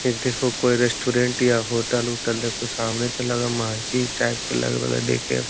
इ देखो कोई रेस्टोरेंट या होटल उटल देखो सामने ते लगे महजीद टाइप के लग रहले देखे में।